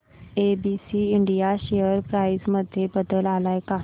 ABC India share price मध्ये बदल आलाय का